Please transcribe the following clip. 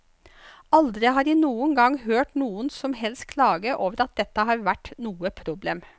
Aldri har jeg noen gang hørt noen som helst klage over at dette har vært noe problem.